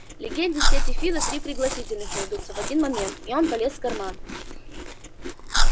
легенде сети фидо три пригласительных найдутся в один момент и он полез в карман